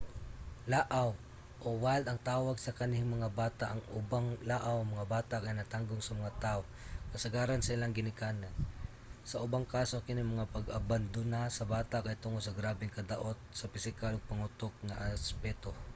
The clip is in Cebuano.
"laaw o wild ang tawag sa kanhing mga bata. ang ubang laaw nga mga bata kay natanggong sa mga tao kasagaran sa ilahang ginikanan; sa ubang kaso kining pag-abandona sa bata kay tungod sa grabeng kadaot sa pisikal ug pangutok nga aspeto